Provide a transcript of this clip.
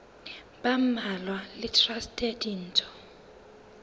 ba mmalwa le traste ditho